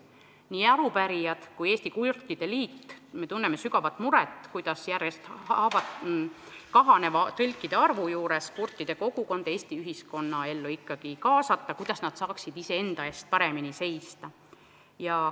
Nii arupärijad kui ka Eesti Kurtide Liit tunnevad sügavat muret, kuidas järjest kahaneva tõlkide arvu juures kurtide kogukond Eesti ühiskonnaellu kaasata, kuidas nad saaksid iseenda eest paremini seista.